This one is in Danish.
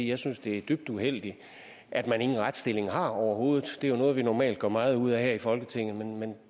jeg synes det er dybt uheldigt at man ingen retsstilling har overhovedet det er noget vi normalt gør meget ud af her i folketinget men